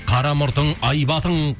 қара мұртың айбатың